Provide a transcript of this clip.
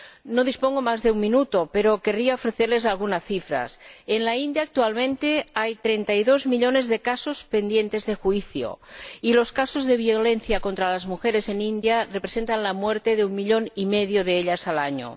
No dispongo más que de un minuto, pero querría ofrecerles algunas cifras en la India actualmente hay 32 millones de casos pendientes de juicio, y los casos de violencia contra las mujeres en la India representan la muerte de un millón y medio de ellas al año.